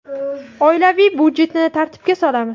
Oilaviy byudjetni tartibga solamiz.